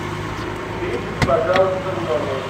уберитесь пожалуйста в номере